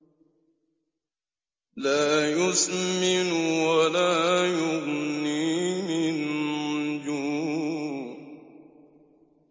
لَّا يُسْمِنُ وَلَا يُغْنِي مِن جُوعٍ